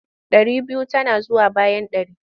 Ɗari biyu tana zuwa bayan ɗari.